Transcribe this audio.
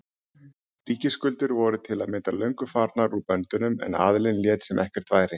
Ríkisskuldir voru til að mynda löngu farnar úr böndunum en aðallinn lét sem ekkert væri.